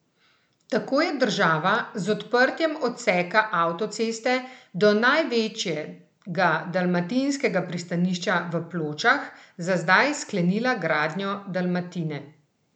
Tako je država z odprtjem odseka avtoceste do največjega dalmatinskega pristanišča v Pločah za zdaj sklenila gradnjo Dalmatine.